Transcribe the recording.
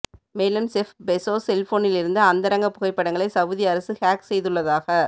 மேலும் Jeff Bezos செல்போனிலிருந்து அந்தரங்க புகைப்படங்களை சவுதி அரசு ஹேக் செய்துள்ளதாக